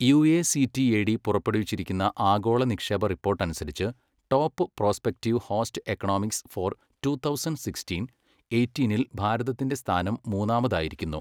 യുഎസിറ്റിഎഡി പുറപ്പെടുവിച്ചിരിക്കുന്ന ആഗോള നിക്ഷേപ റിപ്പോട്ടനുസരിച്ച് top prospective host economies for two thousand sixteen, എയ്റ്റീനിൽ ഭാരതത്തിന്റെ സ്ഥാനം മൂന്നാമതായിരിക്കുന്നു.